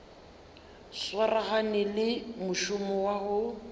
swaragane le mošomo wa go